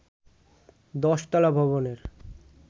১০ তলা ভবনের